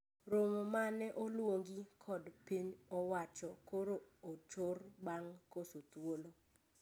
Romo ma ne oluongi kod piny owacho koro ochor bang koso thuolo